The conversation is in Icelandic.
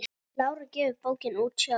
Lára gefur bókina út sjálf.